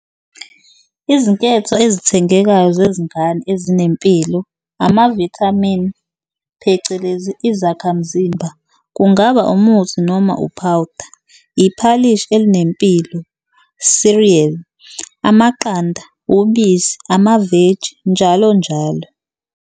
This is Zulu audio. Izinketho ezithengekayo zezingane ezinempilo amavithamini phecelezi izakhamzimba kungaba umuthi noma uphawuda, iphalishi elinempilo, cereal, amaqanda, ubisi, amaveji, njalo njalo